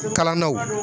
Kalannaw